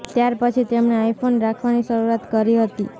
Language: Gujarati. ત્યારપછી તેમણે આઈ ફોન રાખવાની શરૂઆત કરી હતી